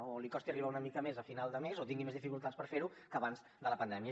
o li costi arribar una mica més a final de mes o tingui més dificultats per fer ho que abans de la pandèmia